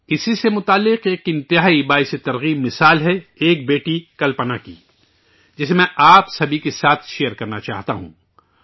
اس سے جڑی ایک حوصلہ افزا مثال ہے ایک بیٹی کلپنا کی، جسے ، میں آپ سبھی کے ساتھ مشترک کرنا چاہتا ہوں